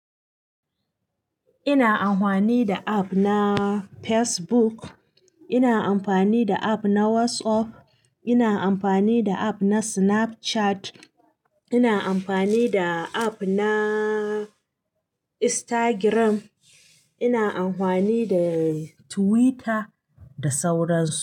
Ina amfani da app na Facebook, ina amfani da app na WhatsApp, ina amfani da app na Snapchat, ina amfani da app na Instagram, ina amfani da Twitter da sauran su.